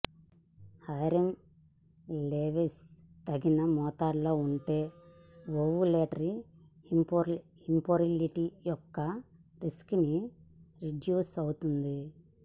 iron levels తగిన మోతాదులో ఉంటే ఓవులేటరీ ఇంఫెర్టిలిటీ యొక్క రిస్క్ ని రెడ్యూస్ అవుతుంది